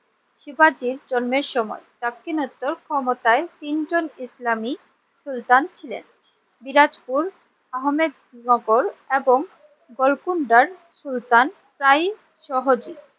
শিবাজীর জন্মের সময় দাক্ষিণাত্য ক্ষমতায় তিনজন ইসলামিক সুলতান ছিলেন সিরাজপুর, আহমেদ নগর এবং গোলকুন্ডার সুলতান প্রায় সহজে